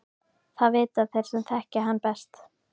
Það vita þeir sem þekkja hann best.